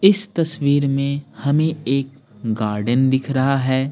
इस तस्वीर में हमें एक गार्डन दिख रहा है।